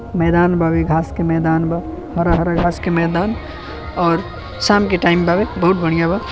मैदान बावे। घास के मैदान बा। हरा-हरा घास के मैदान और शाम के टाइम बावे। बहुत बढ़िया बा।